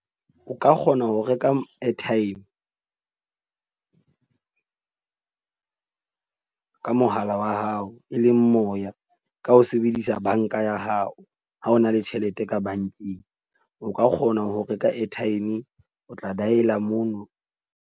O ka Kgona ho reka airtime ka mohala wa hao, e leng moya ka ho sebedisa bank-a ya hao. Ha o na le tjhelete ka bank-eng, o ka kgona ho reka airtime. O tla dial-a mono.